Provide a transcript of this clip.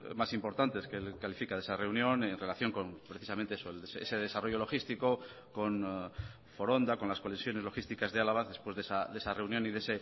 más importantes que califica de esa reunión en relación con precisamente ese desarrollo logístico con foronda con las conexiones logísticas de álava después de esa reunión y de